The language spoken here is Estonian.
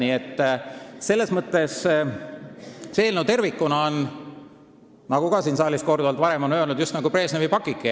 Nii et see eelnõu tervikuna on, nagu siin saalis varem korduvalt on öeldud, just nagu Brežnevi pakike.